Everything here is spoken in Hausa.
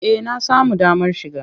Eh na samu damar shiga.